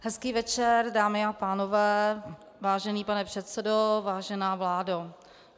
Hezký večer, dámy a pánové, vážený pane předsedo, vážená vládo.